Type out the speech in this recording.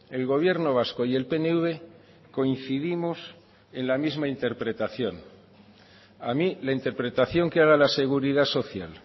el gobierno vasco y el pnv coincidimos en la misma interpretación a mí la interpretación que haga la seguridad social